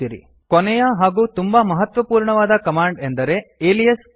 ಕೊನೆಯ ಹಾಗೂ ತುಂಬಾ ಮಹತ್ವಪೂರ್ಣವಾದ ಕಮಾಂಡ್ ಎಂದರೆ ಅಲಿಯಾಸ್ ಕಮಾಂಡ್